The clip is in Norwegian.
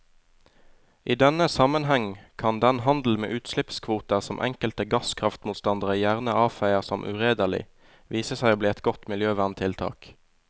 I denne sammenheng kan den handel med utslippskvoter som enkelte gasskraftmotstandere gjerne avfeier som uredelig, vise seg å bli et godt miljøverntiltak.